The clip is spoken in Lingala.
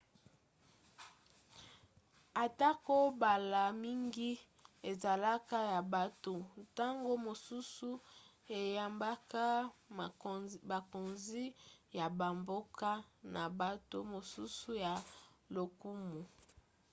atako mbala mingi ezalaka ya bato ntango mosusu eyambaka bakonzi ya bamboka pe bato mosusu ya lokumu